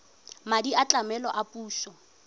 madi a tlamelo a puso